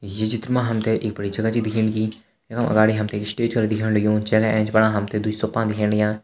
ये चित्र मा हमथे एक बड़ी जगा च दिखेण लगी यखम अगाड़ी हमथे स्टेज कर दिखेण लग्युँ जैका एैंच फणा हमथे द्वी सोफान दिखेण लग्या।